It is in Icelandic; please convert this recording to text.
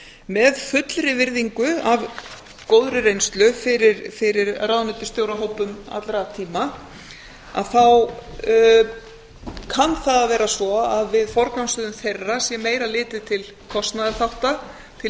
með fullri virðingu af góðri reynslu fyrir ráðuneytisstjórahópum allra tíma kann það að vera svo að við forgangsröðun þeirra sé meira litið til kostnaðarþátta til